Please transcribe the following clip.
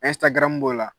b'o la